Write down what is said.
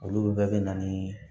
Olu bɛɛ bɛ na ni